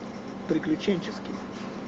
приключенческий